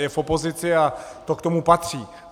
Je v opozici a to k tomu patří.